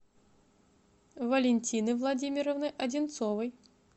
валентины владимировны одинцовой